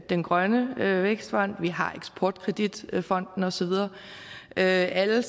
den grønne vækstfond vi har eksport kredit fonden og så videre det er alle